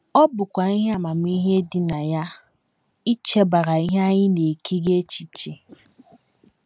Ọ bụkwa ihe amamihe dị na ya ichebara ihe anyị na - ekiri echiche.